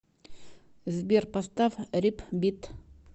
сбер поставь рипбит